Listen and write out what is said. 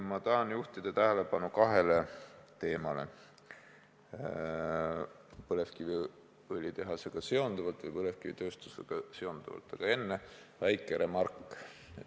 Ma tahan juhtida tähelepanu kahele teemale põlevkiviõlitehase või põlevkivitööstusega seonduvalt, aga enne väike remark.